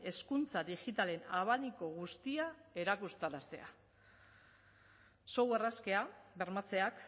hezkuntza digitalean abaniko guztia erakutsaraztea software askea bermatzeak